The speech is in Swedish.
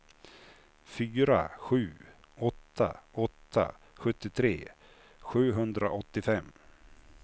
fyra sju åtta åtta sjuttiotre sjuhundraåttiofem